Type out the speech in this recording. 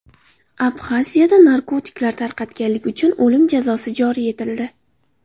Abxaziyada narkotiklar tarqatganlik uchun o‘lim jazosi joriy etildi.